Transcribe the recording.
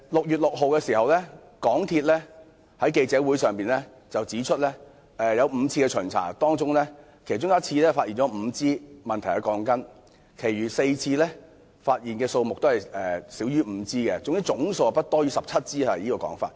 港鐵公司在6月6日的記者招待會上指出，在5次的巡查中，有1次發現5支有問題的鋼筋，其餘4次所發現的問題鋼筋數目均少於5支，總數不超過17支。